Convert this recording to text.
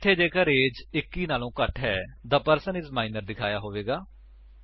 ਇੱਥੇ ਜੇਕਰ ਏਜ 21 ਵਲੋਂ ਘੱਟ ਹੈ ਥੇ ਪਰਸਨ ਆਈਐਸ ਮਾਈਨਰ ਦਿਖਾਇਆ ਹੋਇਆ ਹੋਵੇਗਾ